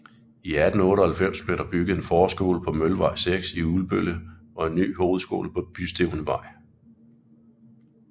I 1898 blev der bygget en forskole på Møllevej 6 i Ulbølle og en ny hovedskole på Bystævnevej